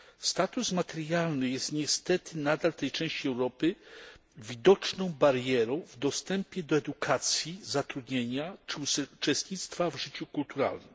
Status materialny jest niestety nadal w tej części Europy widoczną barierą w dostępie do edukacji, zatrudnienia czy uczestnictwa w życiu kulturalnym.